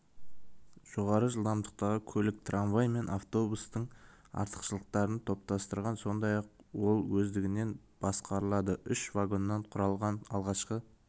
жоғары жылдамдықтағы көлік трамвай мен автобустың артықшылықтарын топтастырған сондай-ақ ол өздігінен басқарылады үш вагоннан құралған алғашқы